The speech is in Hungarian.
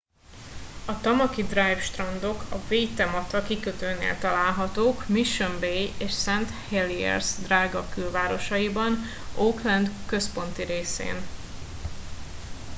a tamaki drive strandok a waitemata kikötőnél találhatók mission bay és st heliers drága külvárosaiban auckland központi részén